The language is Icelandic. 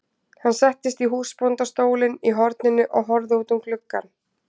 Hann settist í húsbóndastólinn í horninu og horfði út um gluggann.